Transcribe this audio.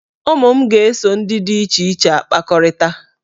Ụmụ m ga-eso ndị dị iche iche na-akpakọrịta.